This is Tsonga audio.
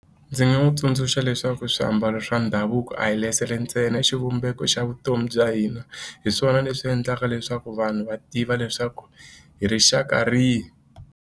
Ndzi nga n'wi tsundzuxa leswaku swiambalo swa ndhavuko a hi ntsena xivumbeko xa vutomi bya hina hi swona leswi endlaka leswaku vanhu va tiva leswaku hi rixaka rihi.